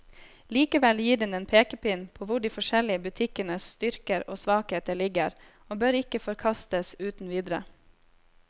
Likevel gir den en pekepinn på hvor de forskjellige butikkenes styrker og svakheter ligger, og bør ikke forkastes uten videre.